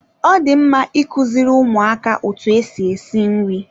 Ọ dị mma ikuziri ụmụaka otu esi esi nri.